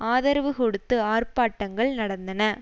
ஆதரவு கொடுத்து ஆர்ப்பாட்டங்கள் நடநதின